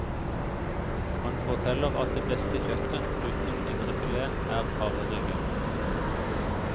Han forteller at det beste kjøttet, utenom indrefileten, er hareryggen.